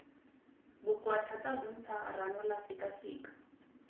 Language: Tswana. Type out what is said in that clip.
bokoa thata bontsha ranola sekaseka